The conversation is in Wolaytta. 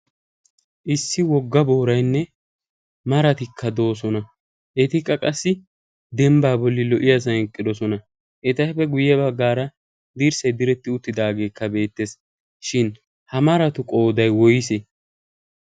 issi wogga booraynne maratikka de'oosoona. etappe guye badaara dirssay diretti uttidaagee beetees. shin ha maratu qooday woysee?